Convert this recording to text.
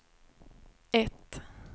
ett